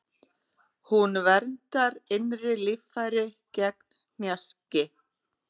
Hún verndar innri líffæri gegn hnjaski.